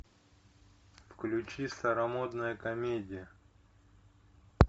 включи старомодная комедия